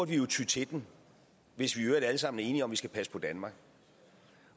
jo ty til den hvis vi i øvrigt alle sammen er enige om at vi skal passe på danmark